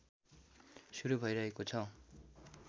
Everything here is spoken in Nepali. सुरु भइरहेको छ